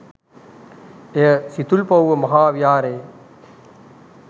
එය සිතුල්පව්ව මහා විහාරයේ